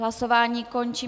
Hlasování končím.